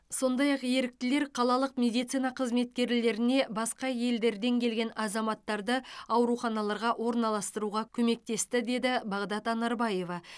сондай ақ еріктілер қалалық медицина қызметкерлеріне басқа елдерден келген азаматтарды ауруханаларға орналастыруға көмектесті деді бағдат анарбаева